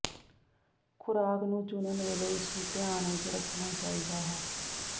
ਖੁਰਾਕ ਨੂੰ ਚੁਣਨ ਵੇਲੇ ਇਸ ਨੂੰ ਧਿਆਨ ਵਿੱਚ ਰੱਖਣਾ ਚਾਹੀਦਾ ਹੈ